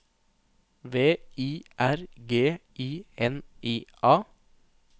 V I R G I N I A